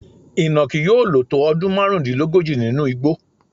Ìnàkí yóò lò tó ọdún márùndínlógójì nínú igbó.